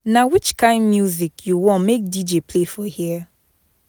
Na which kain music you want make DJ play for here.